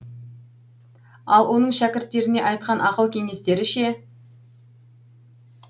ал оның шәкірттеріне айтқан ақыл кеңестері ше